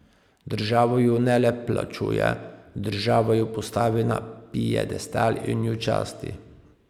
Država ju ne le plačuje, država ju postavi na piedestal in ju časti.